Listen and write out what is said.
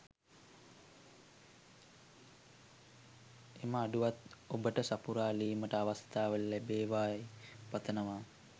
එම අඩුවත් ඔබට සපුරාලීමට අවස්ථාව ලැබෙවායි පතනවා